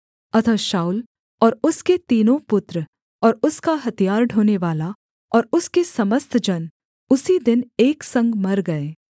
अतः शाऊल और उसके तीनों पुत्र और उसका हथियार ढोनेवाला और उसके समस्त जन उसी दिन एक संग मर गए